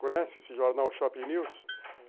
Conhece esse jornal Shopping News?